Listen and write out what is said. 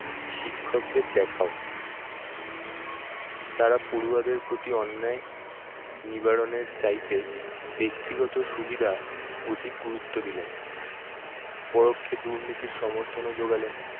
শিক্ষকদের দেখাও। তারা পড়ুয়াদের প্রতি অন্যায় নিবারণের চাইতে ব্যক্তিগত সুবিধা অধিক গুরুত্ব দিলেন পরক্ষে, দুর্নীতির সমর্থনও যোগালেন।